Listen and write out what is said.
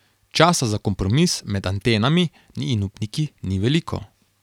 Časa za kompromis med Atenami in upniki ni veliko.